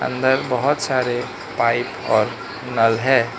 अंदर बहोत सारे पाइप और नल है।